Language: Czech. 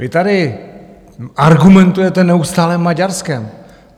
Vy tady argumentujete neustále Maďarskem.